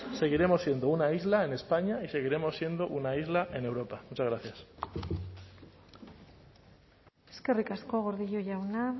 seguiremos siendo una isla en españa y seguiremos siendo una isla en europa muchas gracias eskerrik asko gordillo jauna